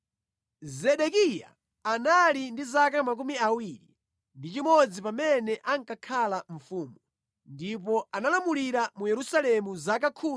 Zedekiya anali ndi zaka 21 pamene ankakhala mfumu, ndipo analamulira mu Yerusalemu zaka 11.